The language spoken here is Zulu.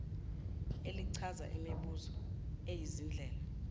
elichaza imbumba yezindlela